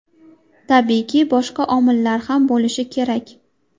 Tabiiyki, boshqa omillar ham bo‘lishi kerak.